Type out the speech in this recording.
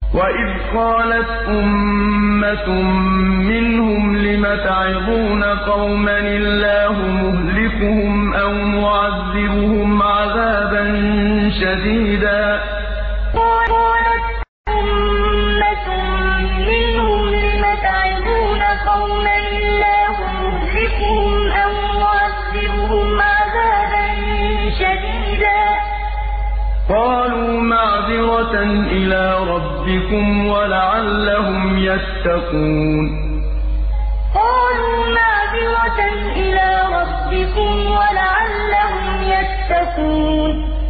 وَإِذْ قَالَتْ أُمَّةٌ مِّنْهُمْ لِمَ تَعِظُونَ قَوْمًا ۙ اللَّهُ مُهْلِكُهُمْ أَوْ مُعَذِّبُهُمْ عَذَابًا شَدِيدًا ۖ قَالُوا مَعْذِرَةً إِلَىٰ رَبِّكُمْ وَلَعَلَّهُمْ يَتَّقُونَ وَإِذْ قَالَتْ أُمَّةٌ مِّنْهُمْ لِمَ تَعِظُونَ قَوْمًا ۙ اللَّهُ مُهْلِكُهُمْ أَوْ مُعَذِّبُهُمْ عَذَابًا شَدِيدًا ۖ قَالُوا مَعْذِرَةً إِلَىٰ رَبِّكُمْ وَلَعَلَّهُمْ يَتَّقُونَ